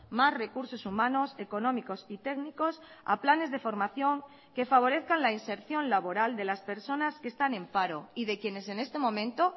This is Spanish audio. más recursos humanos económicos y técnicos a planes de formación que favorezcan la inserción laboral de las personas que están en paro y de quienes en este momento